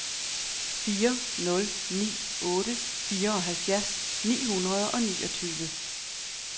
fire nul ni otte fireoghalvfjerds ni hundrede og niogtyve